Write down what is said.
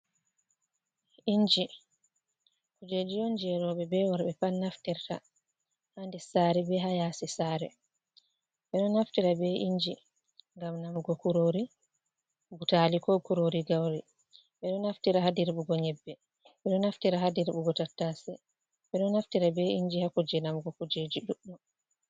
Inji kujeji on je roɓe be worɓe pat naftirta ha nder sare be ha yaasi sare ɓeɗo naftira be inji ngam namugo kurori butali, ko kurori gauri, ɓeɗo naftira ha dirɓugo yebbe, ɓeɗo naftira ha dirɓugo tattase, ɓeɗo naftira be inji hakujeji namugo kujeji ɗudɗum.